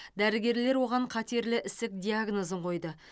дәрігерлер оған қатерлі ісік диагнозын қойды